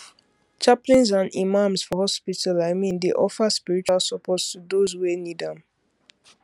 chaplains and imams for hospitals i mean dey offer spiritual support to those wey need am